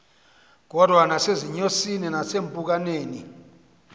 kodwa nasezinyosini nakwiimpukane